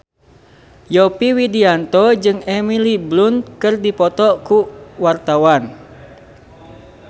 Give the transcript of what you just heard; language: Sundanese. Yovie Widianto jeung Emily Blunt keur dipoto ku wartawan